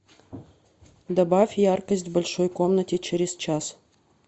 добавь яркость в большой комнате через час